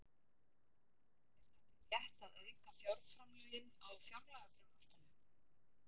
Er þá ekki rétt að auka fjárframlögin á fjárlagafrumvarpinu?